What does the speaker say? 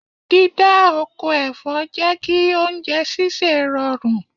Dídá oko ẹ̀fọ́ jẹ́ kí oúnjẹ sísè rọrùn.